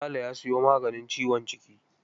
Sale ya sayo maganin ciwon jiki.